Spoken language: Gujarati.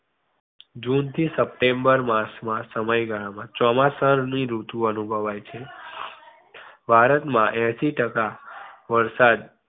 જૂન થી સપ્ટેમ્બર માસ ના સમયગાળા માં ચોમાસા ની ઋતુ અનુભવાય છે ભારત માં એંશી ટકા વરસાદ